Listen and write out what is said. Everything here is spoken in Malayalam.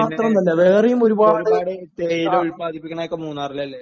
പിന്നെ തേയില ഉത്പാദിപ്പിക്കുന്നതൊക്കെ മൂന്നാറിലല്ലേ?